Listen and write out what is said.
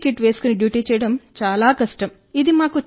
PPE kit వేసుకుని duty చేయడం చాలా కష్టం